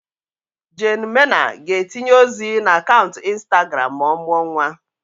Jane Mena ga-etinye ozi na akaụntụ Instagram ma ọ mụọ nwa.